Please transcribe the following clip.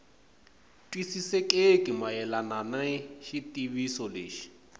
twisisekeki mayelana ni xitiviso lexi